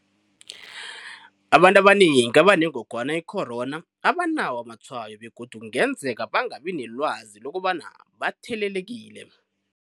Abantu abanengi abanengogwana i-corona abanawo amatshwayo begodu kungenzeka bangabi nelwazi lokobana bathelelekile.